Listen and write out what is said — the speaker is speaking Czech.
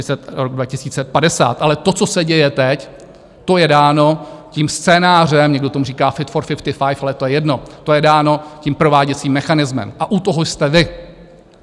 Ale to, co se děje teď, to je dáno tím scénářem, někdo tomu říká Fit for 55, ale to je jedno, to je dáno tím prováděcím mechanismem, a u toho jste vy.